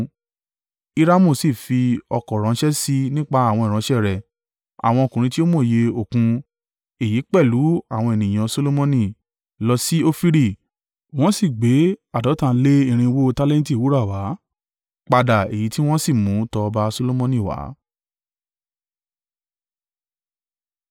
Hiramu sì fi ọ̀kọ̀ ránṣẹ́ sì i nípa àwọn ìránṣẹ́ rẹ̀, àwọn ọkùnrin tí ó mòye Òkun. Èyí pẹ̀lú àwọn ènìyàn Solomoni, lọ sí Ofiri wọ́n sì gbé àádọ́ta lé ní irinwó (450) tálẹ́ǹtì wúrà wá, padà èyí tí wọ́n sì mú tọ ọba Solomoni wá.